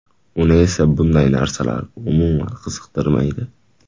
Uni esa bunday narsalar umuman qiziqtirmaydi.